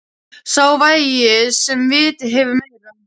Sá vægir sem vitið hefur meira!